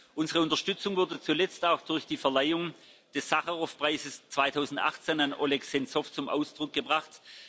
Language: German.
Unsere Unterstützung wurde zuletzt auch durch die Verleihung des Sacharow Preises 2018 an Oleg Sentzow zum Ausdruck gebracht.